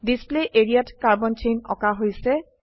display area ত carbon chain আঁকা হৈছে